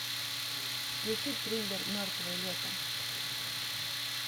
включи триллер мертвое лето